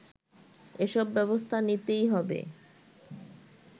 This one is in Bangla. এসব ব্যবস্থা নিতেই হবে